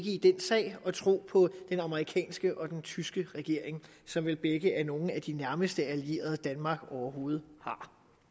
i den sag at tro på den amerikanske og den tyske regering som vel begge er nogle af de nærmeste allierede danmark overhovedet har